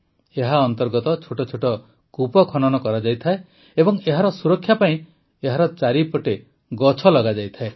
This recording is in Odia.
ଏହା ଅନ୍ତର୍ଗତ ଛୋଟ ଛୋଟ କୂପ ଖନନ କରାଯାଇଥାଏ ଏବଂ ଏହାର ସୁରକ୍ଷା ପାଇଁ ଏହାର ଚାରିପଟେ ଗଛ ଲଗାଯାଇଥାଏ